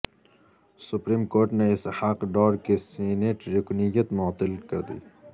supreme court نے اسحاق ڈار کی senate رکنیت معطل کردی